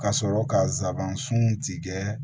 Ka sɔrɔ ka zaban sun tigɛ